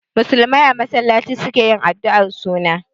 Musulmai a masallaci su ke yin addu'ar suna.